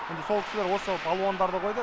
енді сол кісілер осы балуандарды қойды